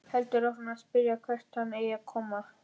Heldur áfram að spyrja hvert hann eigi að koma.